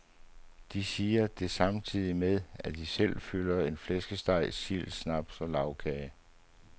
De siger det samtidig med, at de selv fylder sig med flæskesteg, sild, snaps og lagkage.